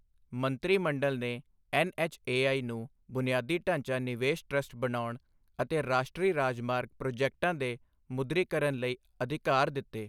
ਮੰਤਰੀ ਮੰਡਲ ਨੇ ਐੱਨਐੱਚਏਆਈ ਨੂੰ ਬੁਨਿਆਦੀ ਢਾਂਚਾ ਨਿਵੇਸ਼ ਟਰੱਸਟ ਬਣਾਉਣ ਅਤੇ ਰਾਸ਼ਟਰੀ ਰਾਜਮਾਰਗ ਪ੍ਰੋਜੈਕਟਾਂ ਦੇ ਮੁਦਰੀਕਰਨ ਲਈ ਅਧਿਕਾਰ ਦਿੱਤੇ